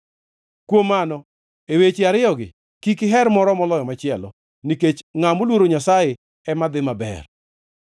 Kuom mano, e weche ariyogi kik iher moro moloyo machielo, nikech ngʼat moluoro Nyasaye ema dhi maber.